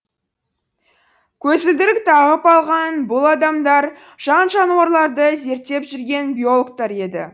көзілдірік тағып алған бұл адамдар жан жануарларды зерттеп жүрген биологтар еді